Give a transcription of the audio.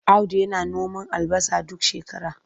Audu yana noman albasa duk shakara.